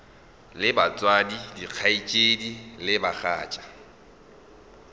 le batswadi dikgaetšedi le bagatša